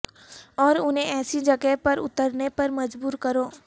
اور انہیں ایسی جگہ پر اترنے پر مجبور کرو